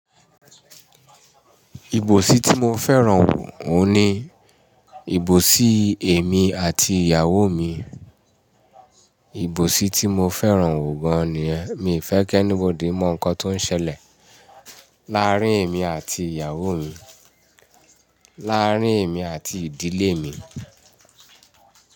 Ìbòsí tí mo fẹ́ràn òun ni ìbòsí èmi àti ìyàwó mi. Ìbòsí tí mo fẹ́ràn gan ni yẹ́n, mi ò fẹ́ kí anybody mọ̀ nǹkan tó ń ṣẹlẹ̀ láàrin èmi àti ìyàwó mi, láàrin èmi àti ìdílé mi.